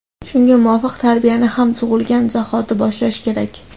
Shunga muvofiq, tarbiyani ham tug‘ilgan zahoti boshlash kerak.